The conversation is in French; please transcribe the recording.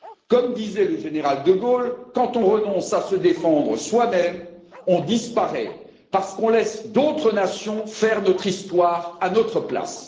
Comme disait le général de Gaulle, quand on renonce à se défendre soi même, on disparaît, parce qu'on laisse d'autres nations faire notre histoire à notre place.